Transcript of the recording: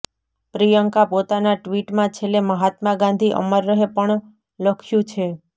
પ્રિયંકા પોતાના ટ્વીટમાં છેલ્લે મહાત્મા ગાંધી અમર રહે પણ લખ્યું છે